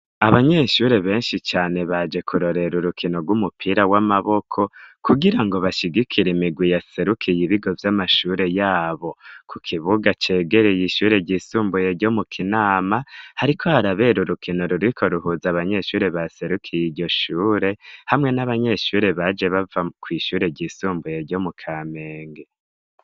Abanyeshure benshi cane baje kurorera urukino rw'umupira w'amaboko, kugira ngo bashigikire imirwi yaserukiye ibigo vy'amashure yabo. Ku kibuga cegereye ishure ryisumbuye ryo mu Kinama, hariko harabera urukino ruriko ruhuza abanyeshure baserukiye iryo shure hamwe n'abanyeshure baje bava kw' ishure ryisumbuye ryo mu Kamenge.